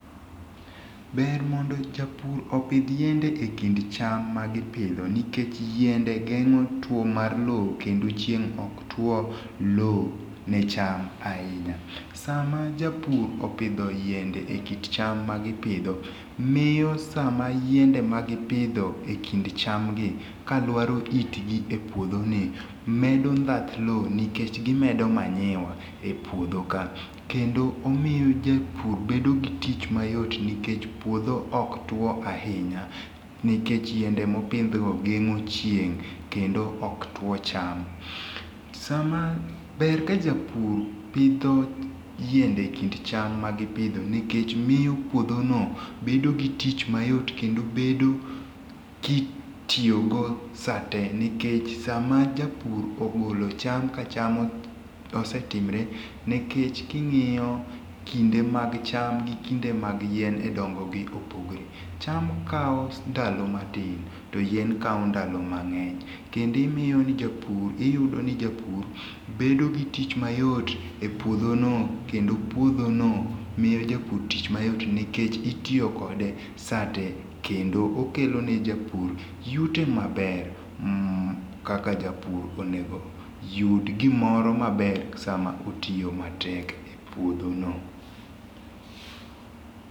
Ber mondo japur opidh yiende ekind cham magipidho nikech yiend geng'o tuo mar lowo kendo chieng ok tuo lowo ne cham ahinya. Sama japur opidho yiende e kind cham ma gipidho miyo sama yiende ma gipidho ekind cham gi ka luaro yitgi epuodhoni medo ndhath lowo nikech gimedo manyiwa epuodho ka. Kendo imiyo japur bedo go tich mayot nikech puodho ok tuo ahinya nikech yiendo mopidho gengo' chieng kendo ok tuo cham. Ber ka japur pidho yiende ekind cham ma puodho nikech miyo pudhono bedo gi tich mayot kedo bedo kitiyogo saate nikech sama japur ogolo cham ka cham osetimore nikech kingiyo kende mag cham gikinde mar yiende dongogi opogore. Cham kawo ndalo matin to yien kawo ndalo mang'eny. Kendo iyudo ni japur bedo gi tich mayot epuodhono kendo pudhono miyo japuor tich mayot nikech itiyo kode saate kendo okelone japur yuto maber kaka japur onego yud gimoro maber sama otiyo matek epuodhono.